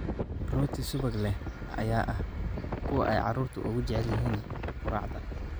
Rooti subag leh ayaa ah kuwa ay carruurtu ugu jecel yihiin quraacda.